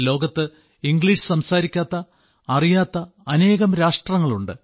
ലോകത്ത് ഇംഗ്ലീഷ് സംസാരിക്കാത്ത ഇത്രത്തോളം അറിയാത്ത അനേകം രാഷ്ട്രങ്ങളുണ്ട്